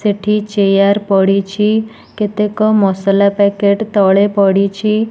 ସେଠି ଚେୟାର୍ ପଡ଼ିଛି। କେତେକ ମସଲା ପ୍ୟାକେଟ୍ ତଳେ ପଡ଼ିଛି।